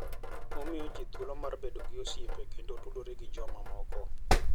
Gimiyo ji thuolo mar bedo gi osiepe kendo tudore gi jomoko.